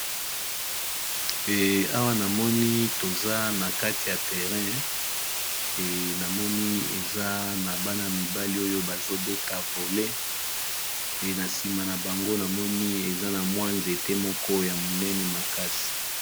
Awa namoni toza na kati ya terrain namoni eza na bana mibali oyo bazobeta vole e na nsima na bango namoni eza na mwa nzete moko ya monene makasi.